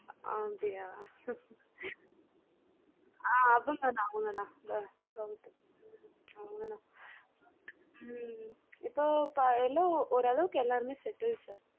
ஆஹ் அப்படியா அவங்கதான் அவங்கதான் sir உம் இப்பம் ஒரு அளவுக்கு எல்லாரும் settle sir